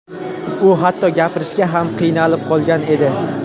U hatto gapirishga ham qiynalib qolgan edi.